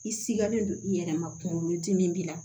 I sigalen don i yɛrɛ ma kunkolo dimi b'i la